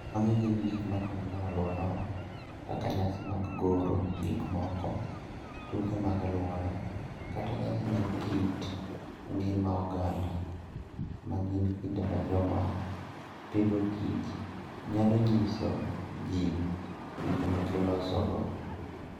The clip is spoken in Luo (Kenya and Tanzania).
Magi gin gik ma timore e alworawa, kaka nyasi mag goro gik moko, tuke mag alwora, kata nyasi mag kit ngima oganda, ma gin kinde ma joma pidhokich nyalo nyiso ji gik ma gilosogo.